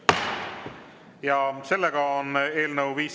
Eelnõu 517 teine lugemine on lõpetatud.